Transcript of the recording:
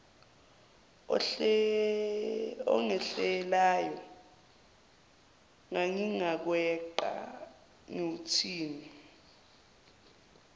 ongehlelayo ngingaweqa ngiwuthini